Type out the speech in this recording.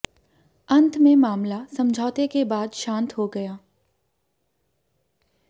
अंत में मामला समझौते के बाद शांत हो गया